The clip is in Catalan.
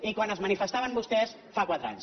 i quan es manifestaven vostès fa quatre anys